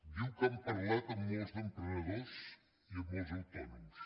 diu que han parlat amb molts emprenedors i amb molts autònoms